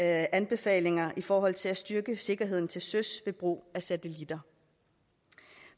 anbefalinger i forhold til at styrke sikkerheden til søs ved brug af satellitter